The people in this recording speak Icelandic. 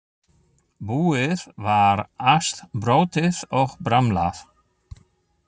Búið var allt brotið og bramlað.